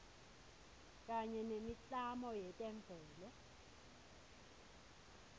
kanye nemiklamo yetemvelo